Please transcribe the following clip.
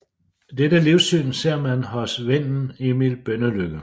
Dette livssyn ser man hos vennen Emil Bønnelycke